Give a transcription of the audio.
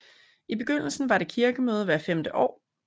I begyndelsen var der kirkemøde hvert femte år